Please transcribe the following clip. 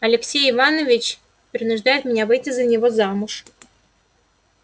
алексей иванович принуждает меня выйти за него замуж